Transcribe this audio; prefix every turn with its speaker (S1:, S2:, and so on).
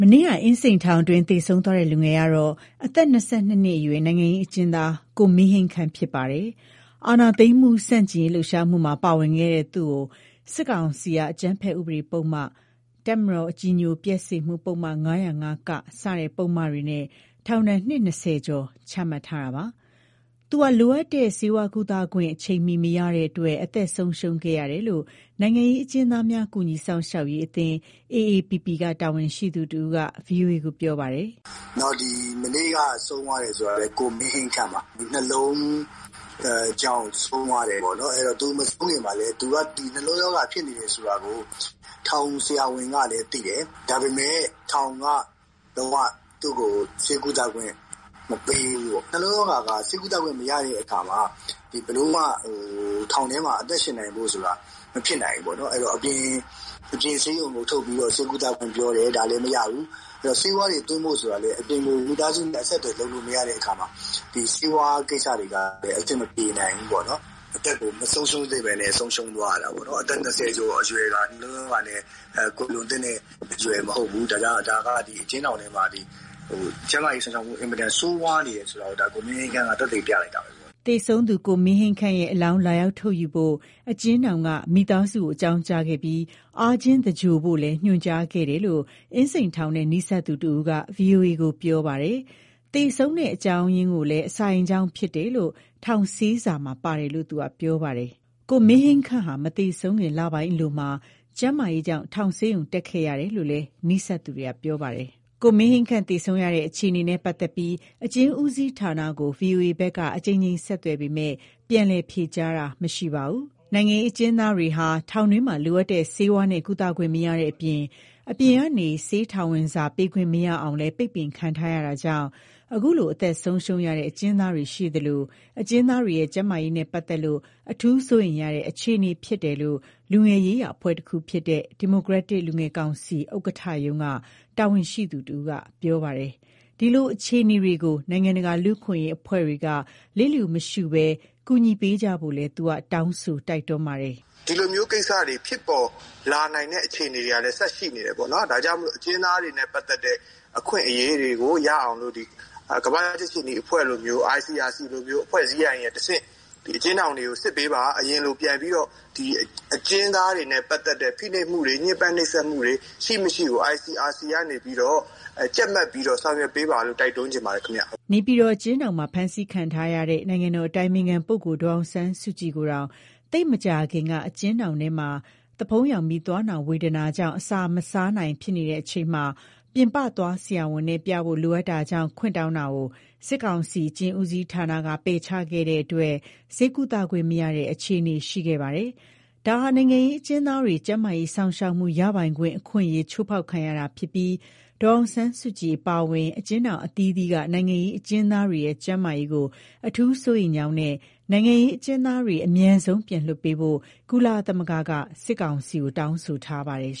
S1: နေ့က အင်းစိန်ထောင်တွင်း သေဆုံးသွားတဲ့ လူငယ်ကတော့ အသက် ၂၂ နှစ်အရွယ် နိုင်ငံရေးအကျဉ်းသား ကိုမင်းဟိန်းခန့် ဖြစ်ပါတယ်။ အာဏာသိမ်းမှု ဆန့်ကျင်ရေး လှုပ်ရှားမှုမှာ ပါဝင်ခဲ့တဲ့ သူ့ကို စစ်ကောင်စီက အကြမ်းဖက်ဥပဒေပုဒ်မ၊ တပ်မတော်ကို အကြည်ညိုပျက်စေမှု ပုဒ်မ ၅၀၅-က စတဲ့ ပုဒ်မတွေနဲ့ ထောင်ဒဏ် နှစ် ၂၀ ကျော် ချမှတ်ထားတာပါ။ သူဟာ လိုအပ်တဲ့ ဆေးဝါးကုသခွင့် အချိန်မီ မရတဲ့အတွက် အသက်ဆုံးရှုံးခဲ့ရတာလို့ နိုင်ငံရေး အကျဉ်းသားများ ကူညီစောင့်ရှောက်ရေးအသင်း AAPP က တာဝန်ရှိသူတဦးက ဗွီအိုအေကို ပြောပါတယ်
S2: ။ "လက်ရှိ အကျဉ်းထောင်တွေထဲမှာ အင်မတန် ဆိုးဝါးတဲ့ အခြေအနေပေါ့နော်။ မနေ့က ဆုံးသွားတာ ကိုမင်းဟိန်းခန့်ပါ။ နှလုံးကြောင့် ဆုံးတယ်။ သူ မဆုံးခင်မှာလည်း နှလုံးရောဂါ ဖြစ်နေတာကို ထောင်ဆရာဝန်ကလည်း သိတယ်။ ဒါပေမဲ့ ထောင်က သူ့ကို ဆေးကုသခွင့် မပေးဘူး။ နှလုံးရောဂါက ဆေးကုသခွင့် မရတဲ့အခါမှာ ဘယ်လိုမှ ထောင်ထဲမှာ အသက်ရှင်နိုင်ဖို့ဆိုတာ မဖြစ်နိုင်ဘူး။ အပြင်ဆေးရုံ ဆေးကုသခွင့် ပြောတယ်။ ဒါလည်း မရဘူး။ ဆေးဝါးတွေ သွင်းဖို့ ဆိုတာမှာလည်း မိသားစုနဲ့ အဆက်အသွယ် မရတဲ့အခါမှာ ဒီ ဆေးဝါးကိစ္စတွေက အဆင်မပြေနိုင်ဘူး။ ဒါက အကျဉ်းထောင်ထဲ ကျန်းမာရေး စောင့်ရှောက်မှု အင်မတန် ဆိုးဝါးနေတယ်ဆိုတာ ကိုမင်းဟိန်းခန့်က သက်သေ ပြလိုက်တာပဲ
S1: ။" သေဆုံးသူ ကိုမင်းဟိန်းခန့်ရဲ့ အလောင်း လာရောက် ထုတ်ယူဖို့ အကျဉ်းထောင်က မိသားစုကို အကြောင်းကြားခဲ့ပြီး အားချင်းသဂြိုလ်ဖို့လည်း ညွှန်ကြားခဲ့တယ်လို့ အင်းစိန်ထောင်နဲ့ နီးစပ်သူတဦးက ဗွီအိုအေကို ပြောပါတယ်။ သေဆုံးတဲ့ အကြောင်းအရာကိုလည်း အစာအိမ်ကြောင့် ဖြစ်တယ်လို့ ထောင်ဆေးစာမှာ ပါတယ်လို့ သူက ပြောပါတယ်။ ကိုမင်းဟိန်းခန့်ဟာ မသေဆုံးခင် လပိုင်းအလိုမှာ ကျန်းမာရေးကြောင့် ထောင်ဆေးရုံ တက်ခဲ့ရတယ်လို့လည်း နီးစပ်သူတွေက ပြောပါတယ်။ ကိုမင်းဟိန်းခန့် သေဆုံးခဲ့ရတဲ့ အခြေအနေနဲ့ ပတ်သက်ပြီး အကျဉ်းဦးစီးဌာနကို ဗွီအိုအေဘက်က အကြိမ်ကြိမ် ဆက်သွယ်ပေမဲ့ ပြန်လည် ဖြေကြားတာ မရှိခဲ့ပါဘူး။ နိုင်ငံရေး အကျဉ်းသားတွေဟာ ထောင်တွင်းမှာ လိုအပ်တဲ့ ဆေးဝါးနဲ့ ကုသခွင့် မရတဲ့အပြင် အပြင်ကနေ ဆေးထောင်ဝင်စာ ပေးခွင့် မရအောင်လည်း ပိတ်ပင်ခံထားရတာကြောင့် ခုလို အသက်ဆုံးရှုံးရတဲ့ အကျဉ်းသားတွေရှိသလို၊ အကျဉ်းသားတွေရဲ့ ကျန်းမာရေးနဲ့ပတ်သက်လို့ အထူးစိုးရိမ်ရတဲ့ အခြေအနေ ဖြစ်တယ်လို့ လူငယ်ရေးရာအဖွဲ့တခုဖြစ်တဲ့ ဒီမိုကရက်တစ်လူငယ်ကောင်စီ ဥက္ကဌရုံးက တာဝန်ရှိသူတဦးက ပြောပါတယ်။ ဒီလို အခြေအနေတွေကို နိုင်ငံတကာ လူ့အခွင့်အရေး အဖွဲ့တွေက လစ်လျူမရှုဘဲ ကူညီပေးကြဖို့လည်း သူက တောင်းဆို တိုက်တွန်းပါတယ်။ "ဒီလိုက
S3: ိစ္စတွေ ထပ်ဖြစ်လာနိုင်တဲ့ အခြေအနေတွေလည်း ဆက်ရှိနေတယ်။ ဒါကြောင့်မို့ အကျဉ်းသားတွေနဲ့ ပတ်သတ်တဲ့ အခွင့်အရေးတွေ ရအောင် ကမ္ဘာကြက်ခြေနီအဖွဲ့လိုမျိုး၊ ICRC လို အဖွဲ့တွေကနေတဆင့် အကျဉ်းထောင်တွေကို စစ်ပေးပါ။ အရင်လို ပြန်ပြီးတော့ အကျဉ်းသားတွေနဲ့ ပတ်သတ်တဲ့ ဖိနှိပ်မှုတွေ၊ ညှင်းပန်းနှိပ်စက်မှုတွေ ရှိမရှိကို ICRC ကနေပြီးတော့ ကြပ်မတ်ပေးဖို့ တိုက်တွန်းချင်ပါတယ်။
S1: " နေပြည်တော် အကျဉ်းထောင်မှာ ဖမ်းဆီးခံထားရတဲ့ နိုင်ငံတော် အတိုင်ပင်ခံပုဂ္ဂိုလ် ဒေါ်အောင်ဆန်းစုကြည်ကိုတောင် သိပ်မကြာခင်က အကျဉ်းထောင်ထဲမှာ သွားဖုံးယောင်ပြီး သွားနာ ဝေဒနာကြောင့် အစားမစား ဖြစ်နေချိန်မှာ ပြင်ပသွားဆရာဝန်နဲ့ ပြဖို့ လိုအပ်တာကြောင့် ခွင့်တောင်းတာကို စစ်ကောင်စီ အကျဉ်းဦးစီးဌာနက ပယ်ချခဲ့တာကြောင့် ဆေးကုသခွင့် မရတဲ့ အခြေအနေ ရှိခဲ့ပါတယ်။ ဒါဟာ နိုင်ငံရေး အကျဉ်းသားတွေ ကျန်းမာရေး စောင့်ရှောက်မှု ရပိုင်ခွင့် အခွင့်အရေး ချိုးဖောက်ခံရတာဖြစ်ပြီး ဒေါ်အောင်ဆန်းစုကြည် အပါအဝင် အကျဉ်းထောင် အသီးသီးက နိုင်ငံရေး အကျဉ်းသားတွေရဲ့ ကျန်းမာရေးကို အထူးစိုးရိမ်ကြောင်းနဲ့ နိုင်ငံရေး အကျဉ်းသားတွေကို အမြန်ဆုံး ပြန်လွှတ်ပေးဖို့ ကုလသမဂ္ဂက စစ်ကောင်စီကို တောင်းဆိုထားပါတယ်